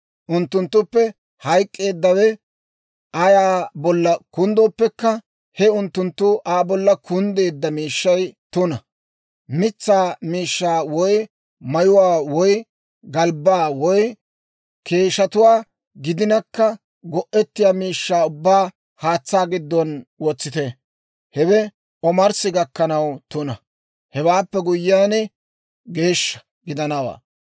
Unttunttuppe hayk'k'eeddawe ayaa bolla kunddooppekka he unttunttu Aa bolla kunddeedda miishshay tuna; mitsaa miishshaa woy mayuwaa woy galbbaa woy keeshshatuwaa gidinakka, go'ettiyaa miishshaa ubbaa haatsaa giddon wotsite; hewe omarssi gakkanaw tuna; Hewaappe guyyiyaan, geeshsha gidanawaa.